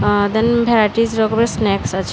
Varieties রকমের snacks আছে।